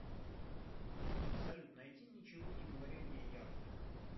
салют найди ничего не говори мне яв